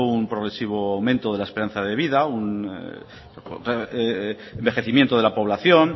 un progresivo aumento de la esperanza de vida un envejecimiento de la población